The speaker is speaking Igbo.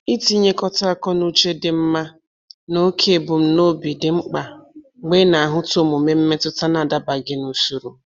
Itinyekọta akọnuche dị mma na oke ebumnobi dị mkpa mgbe ị na-ahụta omume mmetụta na-adabaghị n'usoro